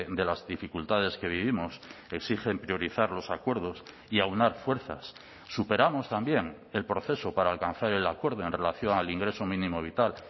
de las dificultades que vivimos exigen priorizar los acuerdos y aunar fuerzas superamos también el proceso para alcanzar el acuerdo en relación al ingreso mínimo vital